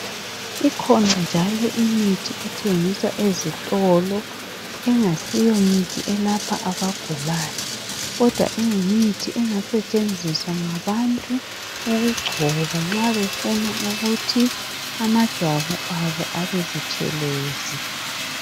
Ikhona njalo imithi ethengiswa ezitolo engasiyo mithi elapha abagulayo kodwa iyimithi engasetshenziswa ngabantu ukugcoba nxa befuna ukuthi amajwabu abo abebutshelezi.